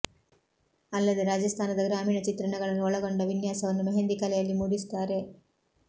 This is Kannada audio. ಅಲ್ಲದೆ ರಾಜಸ್ತಾನದ ಗ್ರಾಮೀಣ ಚಿತ್ರಣಗಳನ್ನು ಒಳಗೊಂಡ ವಿನ್ಯಾಸವನ್ನು ಮೆಹೆಂದಿ ಕಲೆಯಲ್ಲಿ ಮೂಡಿಸುತ್ತಾರೆ